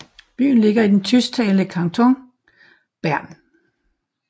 Byen ligger i det tysktalende kanton Bern